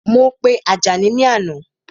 Mo pe Àjàní ni àná